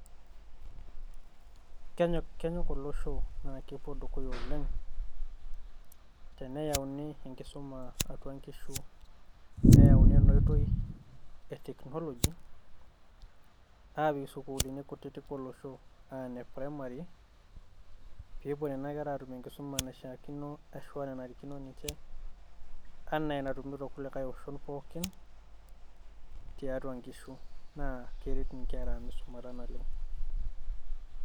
Ke`kenyok olosho araki epuo dukuya oleng teneyauni enkisuma atua nkishu. Neyauni ena oitoi e teknoloji aapik sukuulini kutitik olosho aa ine primary, pee epuo nena kera aatum enkisuma naishiakino arashu enanarikino ninche, enaa enatumito ilkulikae oshon pookin tiatua nkishu. Naa keret nkera ang misumata naleng.